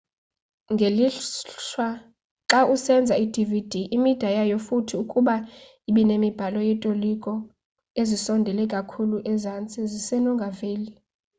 ngelishwa xawusenza i-dvd imida yayo futhi ukuba ibinemibhalo yotoliko ezisondele kakhulu ezantsi zisenongaveli